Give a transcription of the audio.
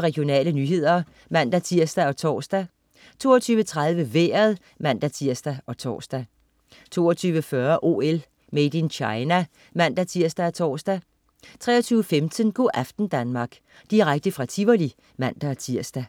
Regionale nyheder (man-tirs og tors) 22.30 Vejret (man-tirs og tors) 22.40 OL: Made in China (man-tirs og tors) 23.15 Go' aften Danmark. Direkte fra Tivoli (man-tirs)